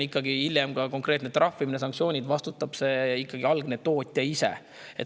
Kui hiljem on konkreetne trahvimine, sanktsioonid, siis vastutab ikkagi tootja ise.